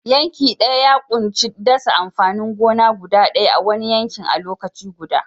Yanke daya ya ƙunshi dasa amfanin gona guda ɗaya a'wani yanki a lokaci guda.